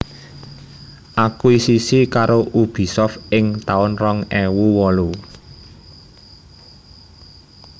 Akuisisi karo Ubisoft ing taun rong ewu wolu